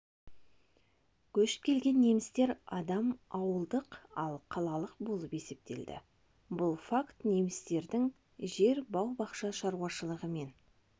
көшіп келген немістер адам ауылдық ал қалалық болып есептелінді бұл факт немістердің жер бау бақша шаруашылығымен